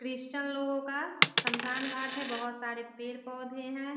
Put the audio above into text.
Christian लोगों का शमशान घाट है बहुत सारे पेड़-पोधे हैं।